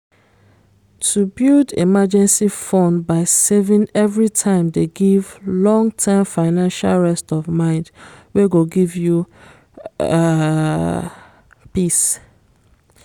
to build emergency fund by saving everytime dey give long-term financial rest of mind wey go give you um peace